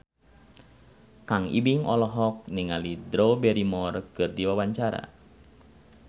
Kang Ibing olohok ningali Drew Barrymore keur diwawancara